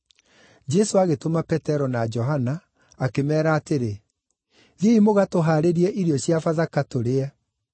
Jesũ agĩtũma Petero na Johana, akĩmeera atĩrĩ, “Thiĩi mũgatũhaarĩrie irio cia Bathaka, tũrĩe.”